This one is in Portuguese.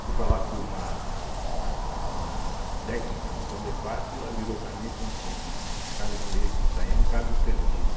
Fui falar com uma a uma técnica do Condefate e ela virou para mim e falou assim, olha a casa Bandeirista do Itaim é um caso perdido.